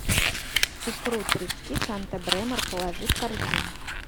икру трески санта бремор положи в корзину